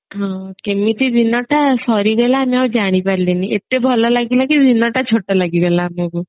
ହଁ କେମିତି ଦିନ ଟା ସରିଗଲା ଆମେ ଆଉ ଜାଣିପାରିଲୁଣି ଏତେ ଭଲ ଲାଗିଲା କି ଦିନଟା ଛୋଟ ଲାଗି ଗଲା ଆମକୁ